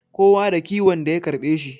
Kowa da kiwon da ya karbe shi